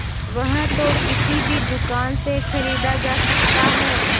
वह तो किसी भी दुकान से खरीदा जा सकता है